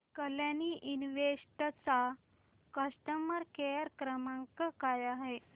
Kalyani invest चा customer care क्रमांक काय आहे